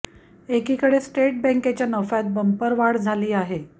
एकीकडे स्टेट बँकेच्या नफ्यात बंपर वाढ झाली आहे